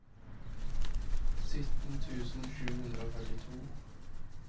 sytten tusen sju hundre og førtito